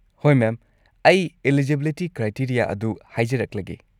ꯍꯣꯏ, ꯃꯦꯝ! ꯑꯩ eligibility criteria ꯑꯗꯨ ꯍꯥꯏꯖꯔꯛꯂꯒꯦ꯫